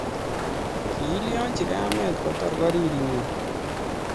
kilyachi kamet kotor koriri inye